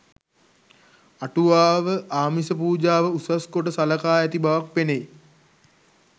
අටුවාව ආමිස පූජාව උසස්කොට සලකා ඇති බවක් පෙනෙයි